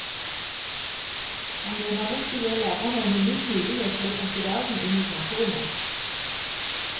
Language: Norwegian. Han mener nettet gir lærerne en unik mulighet til å trekke verden inn i klasserommet.